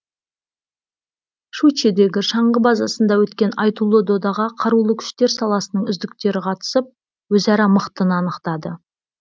щучьедегі шаңғы базасында өткен айтулы додаға қарулы күштер саласының үздіктері қатысып өзара мықтыны анықтады